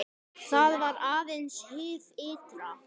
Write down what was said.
Þetta var aðeins hið ytra.